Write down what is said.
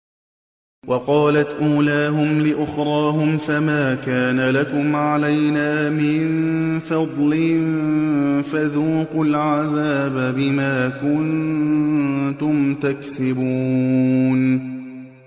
وَقَالَتْ أُولَاهُمْ لِأُخْرَاهُمْ فَمَا كَانَ لَكُمْ عَلَيْنَا مِن فَضْلٍ فَذُوقُوا الْعَذَابَ بِمَا كُنتُمْ تَكْسِبُونَ